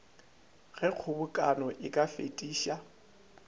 ge kgobokano e ka fetiša